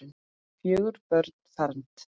Fjögur börn fermd.